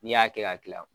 N'i y'a kɛ ka kila